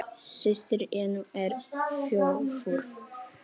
Systir Jennu er þjófur.